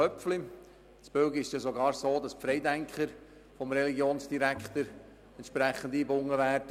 Köpfli: In Belgien ist es sogar so, dass die Freidenker vom Religionsdirektor entsprechend eingebunden werden.